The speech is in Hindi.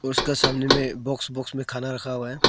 उसके सामने में बॉक्स बॉक्स में खाना रखा हुआ है।